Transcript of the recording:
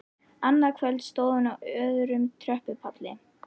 Annað kvöld stóð hún á öðrum tröppupalli.